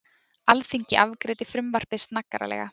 Alþingi afgreiddi frumvarpið snaggaralega